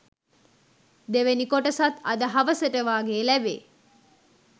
දෙවැනි කොටසත් අද හවසට වගේ ලැබෙයි